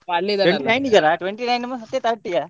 twenty nine ಮತ್ತು thirty ಯಾ?